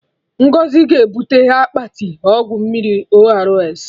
Ngọzi ga-ebute akpati ọgwụ mmiri ORS